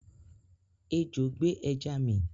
Ejò gbé ẹja mi